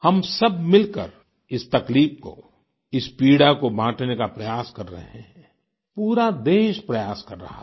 हम सब मिलकर इस तकलीफ को इस पीड़ा को बांटने का प्रयास कर रहे हैं पूरा देश प्रयास कर रहा है